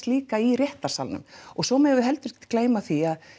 líka í réttarsalnum og svo megum við heldur ekki gleyma því að